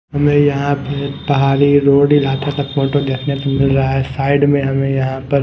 हमें यहां पे पहारी रोड इलाता का फोटो देखने को मिल रहा है साइड मे हमे यहा पर--